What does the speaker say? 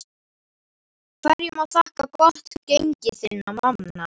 Hverju má þakka gott gengi þinna manna?